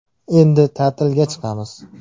Endi ta’tilga chiqamiz.